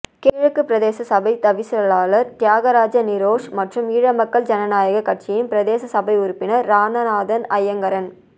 கிழக்கு பிரதேச சபைத் தவிசாளர் தியாகராஜா நிரோஷ் மற்றும் ஈழமக்கள் ஜனநாயகக் கட்சியின் பிரதேச சபை உறுப்பினர் இராநாதன் ஐங்கரன்